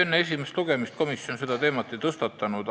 Enne esimest lugemist komisjon seda teemat ei tõstatanud.